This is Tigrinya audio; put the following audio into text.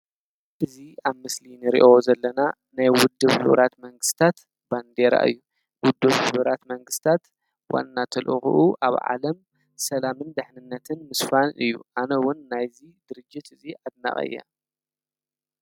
እዚ ኣብ ምስሊ እንሪኦ ዘለና ናይ ውድህብ ሕቡራት መንግስትታት ባንዴራ እዩ፡፡ ውድብ ሕቡራት መንግስትታት ዋና ተልእኽኡ ኣብ ዓለም ሰላምን ድሕንነትን ምስፋን እዩ፡፡ ኣነ እውን ናይዚ ድርጅት እዚ ኣድናቒ እየ፡፡